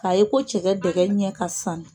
K'a ye ko cɛkɛ dɛgɛ ɲɛ ka sannu.